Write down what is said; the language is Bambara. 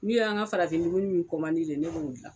N'u y'an ka farafin dumuni min ne b'o gilan.